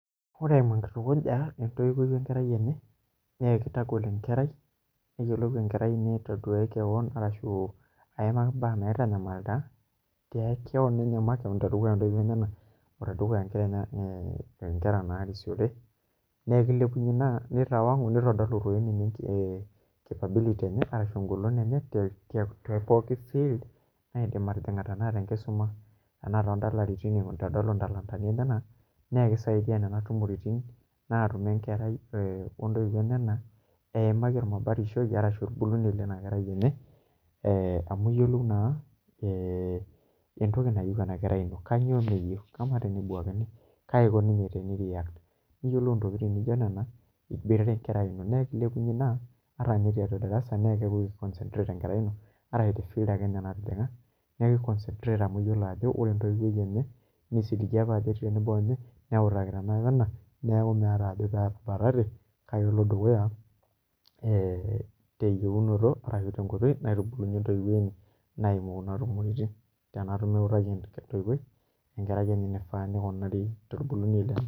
Ore eimu enkitukuja entoiwoi enkerai enye nakitagol enkerai ashu mbaa naitanyamalita tekeon inye makeon tedukuya ntoiwuo enyenak o tedukuya nkera narisiore nakilepunye ina nitadolu engoloto enye tepoki wuejii kidim ataa tenkisuma anaa tondalaritin nakidaia nona tumoritin natumie nkera ontoiwuo eimaki ormabatishoi lenakerai tenebamu iyolou entoki nayieu enakerai ino kanyio meyieu ama tenebuakini kaiko ninye pei react teniyiolou ntokitin nijo nona iboitare nkera na kilepunye in a ata tiatua darasa ino amu eyiolo ajo ore entoiwoi ejye nesiligita tenebo onye neutakita ena wena neakuvmeeta petabatate na kepuo dukuya tenkaraki entouwoi tenatumo eutaki entouwoi eniko pebulu enkerai.